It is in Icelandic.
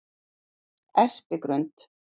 Espigrund